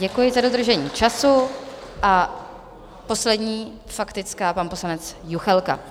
Děkuji za dodržení času a poslední faktická, pan poslanec Juchelka.